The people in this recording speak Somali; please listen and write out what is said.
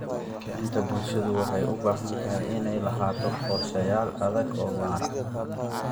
Kicinta bulshada waxay u baahan tahay inay lahaato qorshayaal adag oo waara.